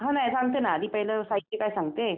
हां नाही सांगते ना आधी पहिलं साहित्य तर सांगते.